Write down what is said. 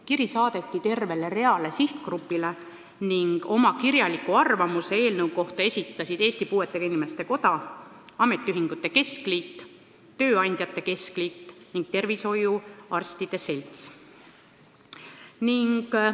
Kiri saadeti tervele hulgale sihtgruppideile ning oma kirjaliku arvamuse eelnõu kohta esitasid Eesti Puuetega Inimeste Koda, Eesti Ametiühingute Keskliit, Eesti Tööandjate Keskliit ning Eesti Töötervishoiuarstide Selts.